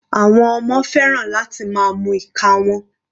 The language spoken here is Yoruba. Àwọn ọmọ fẹ́ràn láti máa mu ìka wọn.